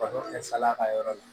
Baro kɛ salaya ka yɔrɔ la